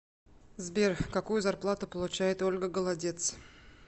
сбер какую зарплату получает ольга голодец